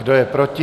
Kdo je proti?